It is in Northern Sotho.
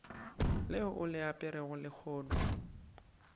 leo o le aperego lehono